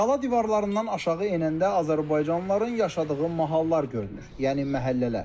Qala divarlarından aşağı enəndə azərbaycanlıların yaşadığı mahallar görünür, yəni məhəllələr.